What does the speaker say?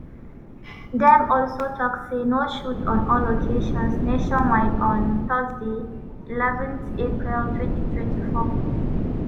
dem also tok say no shoot on all locations nationwide on thursday eleven april 2024.